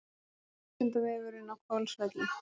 Vísindavefurinn á Hvolsvelli.